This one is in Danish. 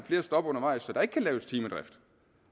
flere stop undervejs så der ikke kan laves timedrift